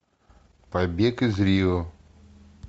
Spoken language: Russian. побег из рио